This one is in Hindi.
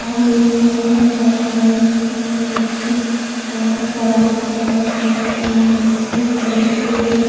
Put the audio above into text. और इसमें बोहोत सारे नाइक हैं जो कि अं सवारी पर बैठे हैं और एक कलछी की तरह --